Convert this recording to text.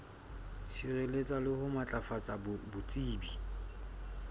sireletsa le ho matlafatsa botsebi